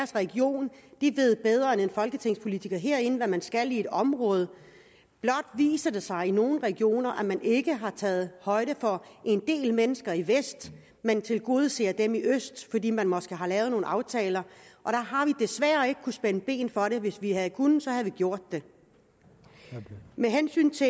region de ved bedre end en folketingspolitiker herinde hvad man skal i et område blot viser det sig i nogle regioner at man ikke har taget højde for en del mennesker i vest men tilgodeser dem i øst fordi man måske har lavet nogle aftaler og der har vi desværre ikke kunnet spænde ben for det hvis vi havde kunnet så havde vi gjort det med hensyn til